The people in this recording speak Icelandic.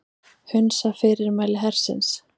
Hunsa fyrirmæli hersins